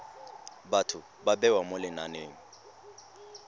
batho ba bewa mo lenaneng